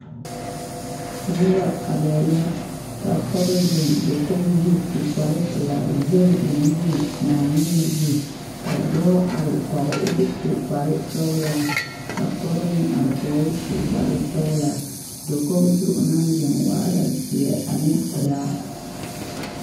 Noba arɛɛ la ka pɔge zeŋ dakogi zu su kparepelaa zɛge o nuuri Naaŋmen zu ka dɔɔ are kɔge o k,o su kparesɔglaa ka pɔge meŋ are kɔge o su kparesɔglaa dakogi zu o naŋ zeŋ waa la zeɛ ane pelaa.